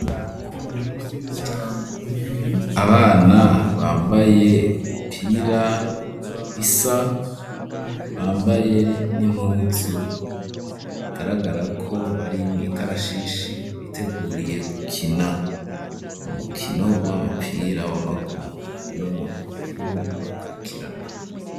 Abana bambaye imipira isa, bambaye n'impuzu bigaragara ko bari mw’ikarashishi, biteguriye gukina umukino w'umapira w'amaguru, hari n'umuntu mukuru abakurikirana.